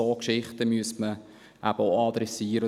Solche Geschichten müsste man auch adressieren.